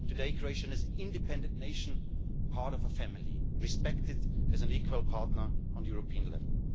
Today Croatia is an independent nation, part of a family, respected as an equal partner on the European level.